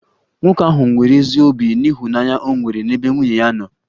Nwoke ahụ nwere ezi obi n'ịhụnanya o nwere n'ebe nwunye ya nọ